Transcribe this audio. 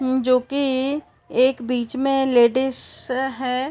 म्म जोकि एक बीच में लेडीस है।